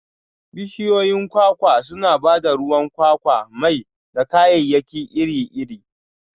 Bishiyoyin kwakwa suna ba da ruwan kwakwa, mai, da kayayyaki iri-iri.